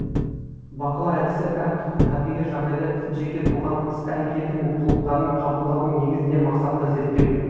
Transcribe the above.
бақылау әдісі әр түрлі табиғи жағдайда жеке тұлғаның іс әрекеті мен қылықтарын қабылдаудың негізінде мақсатты зерттеу